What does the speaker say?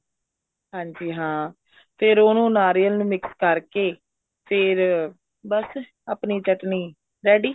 ਹਾਂਜੀ ਹਾਂ ਫ਼ੇਰ ਉਹਨੂੰ ਨਾਰੀਅਲ ਨੂੰ mix ਕਰਕੇ ਫ਼ੇਰ ਬੱਸ ਆਪਣੀ ਚਟਨੀ ready